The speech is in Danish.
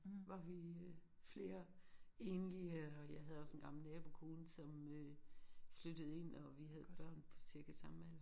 Var vi øh flere enlige øh og jeg havde også en gammel nabokone som øh flyttede ind og vi havde børn på cirka samme alder